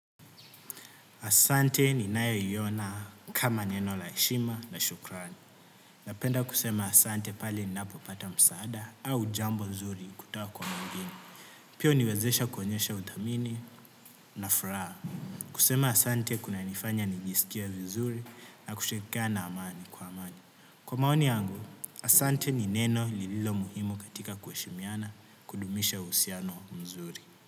Asante ni nayo iona kama neno la heshima na shukrani. Napenda kusema. Asante pali ninaapopata msaada au jambo mzuri kutawa kwa mungini. Pio niwezesha kuonyesha uthamini na furaha. Kusema asante kuna nifanya nijisikie vizuri na kushikia na amani kwa. Kwa maoni yangu, asante ni neno lililo muhimu katika kueshimiana kudumisha usiano mzuri.